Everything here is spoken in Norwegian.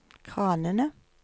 kranene